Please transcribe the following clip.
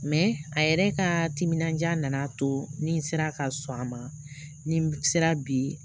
a yɛrɛ ka timinandiya na a to ni n sera ka sɔn a ma ni sera bi